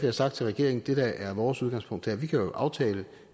har sagt til regeringen at det der er vores udgangspunkt er at vi kan aftale